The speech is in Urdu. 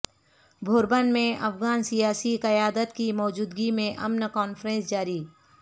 بھوربن میں افغان سیاسی قیادت کی موجودگی میں امن کانفرنس جاری